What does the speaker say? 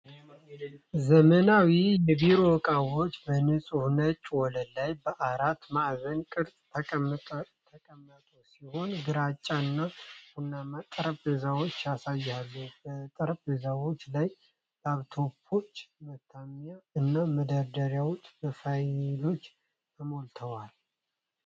ዘመናዊ የቢሮ ዕቃዎች በንፁህ ነጭ ወለል ላይ በአራት ማዕዘን ቅርጽ የተቀመጡ ሲሆን፣ ግራጫ እና ቡናማ ጠረጴዛዎችን ያሳያሉ። በጠረጴዛዎቹ ላይ ላፕቶፖች፣ ማተሚያ እና መደርደሪያዎች በፋይሎች ተሞልተዋል።